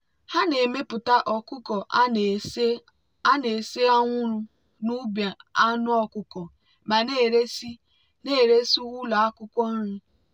ha na-emepụta ọkụkọ a na-ese anwụrụ n'ubi anụ ọkụkọ ma na-eresị na-eresị ụlọ akwụkwọ nri.